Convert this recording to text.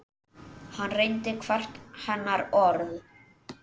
Hann reyndi hvert hennar orð.